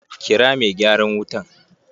Kira mai gyaran wutan!